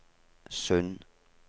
Sund